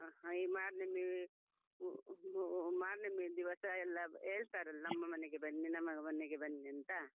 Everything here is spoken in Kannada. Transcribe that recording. ಹ ಈ ಮಾರ್ನಮಿ ಹ್ಮ್ ಮಾ ಮಾರ್ನಮಿ ದಿವಸ ಎಲ್ಲಾ ಹೇಳ್ತಾರಲ್ಲಾ ನಮ್ಮ ಮನೆಗೆ ಬನ್ನಿ ನಮ್ಮ ಮನೆಗೆ ಬನ್ನಿ ಅಂತ.